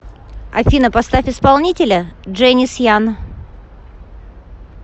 афина поставь исполнителя дженис ян